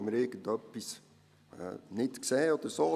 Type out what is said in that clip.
«Haben wir etwas nicht gesehen oder so?